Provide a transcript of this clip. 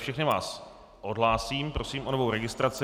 Všechny vás odhlásím, prosím o novou registraci.